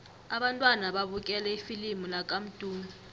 abantwana babukele ifilimu lakamdu